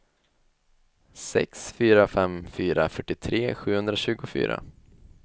sex fyra fem fyra fyrtiotre sjuhundratjugofyra